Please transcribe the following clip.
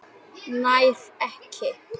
Nær ekki.